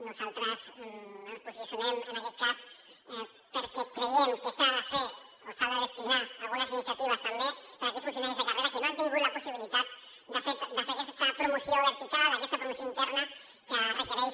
nosaltres ens posicionem en aquest cas perquè creiem que s’ha de fer o s’han de destinar algunes iniciatives també per a aquells funcionaris de carrera que no han tingut la possibilitat de fer aquesta promoció vertical aquesta promoció interna que requereix